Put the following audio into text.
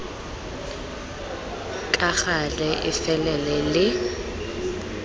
ka gale e felele le